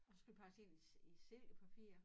Og så skulle de pakkes ind i silkepapir